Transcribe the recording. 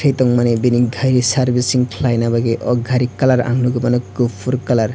he tongmani bini taie servicing khlainani aw gari kalar ang nugui mano kufur kalar.